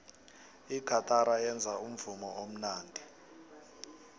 igatara yenza umvumo omnandi